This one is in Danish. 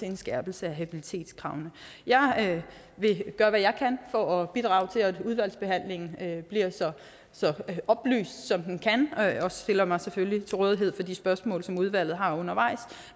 en skærpelse af habilitetskravene jeg vil gøre hvad jeg kan for at bidrage til at udvalgsbehandlingen bliver så oplyst som den kan og stiller mig selvfølgelig til rådighed for de spørgsmål som udvalget har undervejs